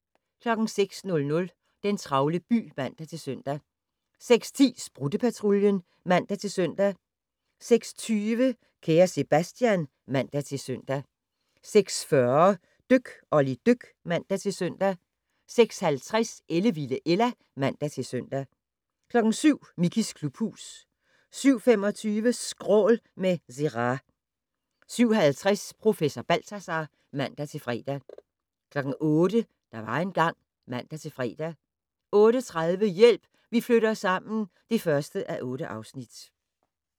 06:00: Den travle by (man-søn) 06:10: Sprutte-Patruljen (man-søn) 06:20: Kære Sebastian (man-søn) 06:40: Dyk Olli dyk (man-søn) 06:50: Ellevilde Ella (man-søn) 07:00: Mickeys klubhus 07:25: Skrål - med Zerah 07:50: Professor Balthazar (man-fre) 08:00: Der var engang ... (man-fre) 08:30: Hjælp, vi flytter sammen (1:8)